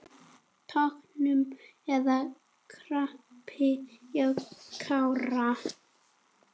Tognun eða krampi hjá Kára?